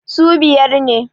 su biyar ne